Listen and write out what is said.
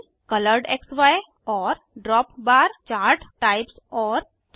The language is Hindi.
बबल कोलोरेडक्सी और ड्रॉपबार चार्ट टाइप्स और 4